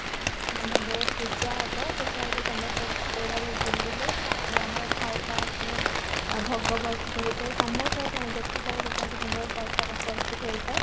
ପୂଜା ହେବ ପୂଜା ହେଇକି ସମସ୍ତେ ଝୁଲିବେ ତାପରେ ଆମର ଖାଇବା ମାନେ ଭୋଗ ପ୍ରସ୍ତୁତ ହେଇଥାଏ ସମସ୍ତଙ୍କ ପାଇଁ ଯେତେ ସବୁ ଲୋକ ଆସିଥାନ୍ତି ପ୍ରସାଦ ପ୍ରସ୍ତୁତ ହେଇଥାଏ